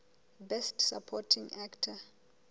best supporting actor